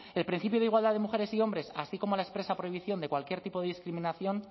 el principio de igualdad de mujeres y hombres así como la expresa prohibición de cualquier tipo de discriminación